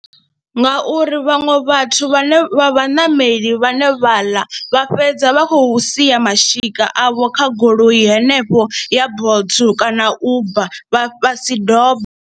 Ngauri vhaṅwe vhathu vhane vha vhaṋameli vhane vhaḽa vha fhedza vha khou sia mashika avho kha goloi henefho ya Bolt kana Uber vha si dombe.